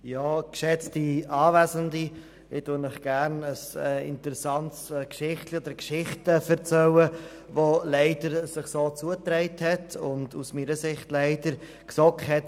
Ich erzähle Ihnen gerne eine interessante Geschichte, die sich leider so zugetragen hat.